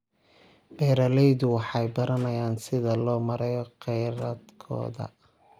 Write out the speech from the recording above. Beeraleydu waxay baranayaan sida loo maareeyo kheyraadkooda.